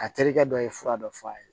A terikɛ dɔ ye fura dɔ f'a ye